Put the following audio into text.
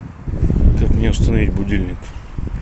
как мне установить будильник